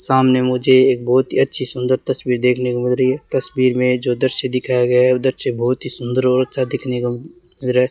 सामने मुझे एक बहोत ही अच्छी सुन्दर तस्वीर देखने को मिल रही है तस्वीर मे जो दृश्य दिखाया गया है वो दृश्य बहोत ही सुंदर और अच्छा दिखने को लग रहा है।